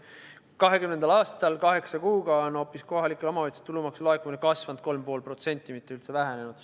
2020. aastal kaheksa kuuga on hoopis kohalike omavalitsuste tulumaksu laekumine kasvanud 3,5%, mitte üldse vähenenud.